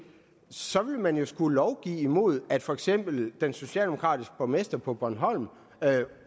så vil man jo skulle lovgive imod at for eksempel den socialdemokratiske borgmester på bornholm